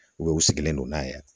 u sigilen don n'a ye